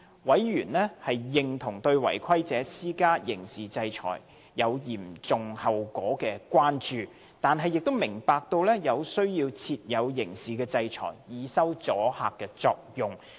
委員認同對違規者施加刑事制裁有嚴重後果的關注，但亦明白有需要設有刑事制裁，以收阻嚇作用。